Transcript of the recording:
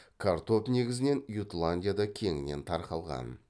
картоп негізінен ютландияда кеңінен тарқалған